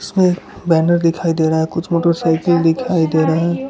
इसमें बैनर दिखाई दे रहा है कुछ मोटरसाइकिल दिखाई दे रही है।